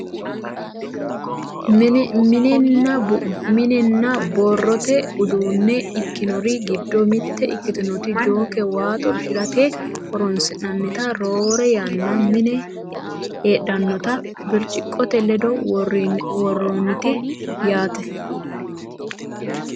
mininna biirote uduunne ikkinori giddo mitte ikktinota jooke waa xorshirate horonsi'nannita roore yaanna mine heedhannota birciqqote ledo worroonnite yaate .